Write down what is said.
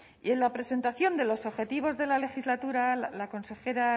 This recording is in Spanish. en la presentación de los objetivos de la legislatura la consejera